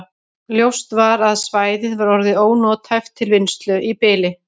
Ljóst var að svæðið var orðið ónothæft til vinnslu í bili.